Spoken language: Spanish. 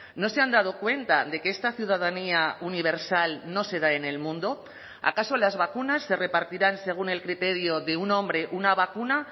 no se han dado cuenta de que esta ciudadanía universal no se da en el mundo acaso las vacunas se repartirán según el criterio de un hombre una vacuna